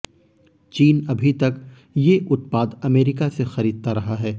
चीन अभी तक ये उत्पाद अमेरिका से खरीदता रहा है